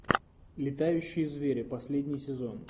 летающие звери последний сезон